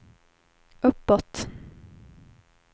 uppåt